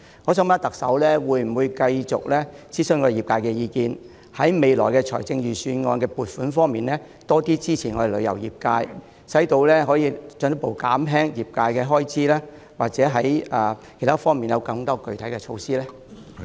我想問，特首會否繼續諮詢業界意見，在未來財政預算案的撥款方面多些支持我們旅遊業界，以便進一步減輕業界的開支，或在其他方面推出更具體的措施呢？